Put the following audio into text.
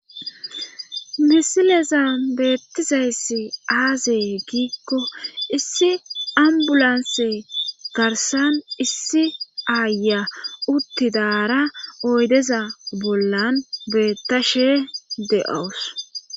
Misileza beettizayss aazee giikko issi ambulanse garsan issi aaya uttidaara oydeza bollan beettashe de7owus